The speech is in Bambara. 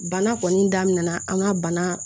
Bana kɔni daminɛna an ka bana